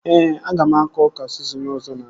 Ee, aga m akọ ọka sizin ọzọ na-abịa